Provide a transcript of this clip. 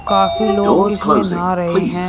काफी लोग इसमें नहा रहे हैं।